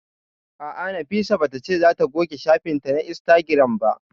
A'a, Nafisa ba ta ce za ta goge shafin ta na Instagram ba